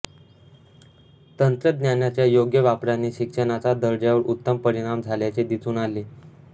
तंत्रज्ञानाच्या योग्य वापराने शिक्षणाचा दर्जावर उत्तम परिणाम झाल्याचे दिसून आले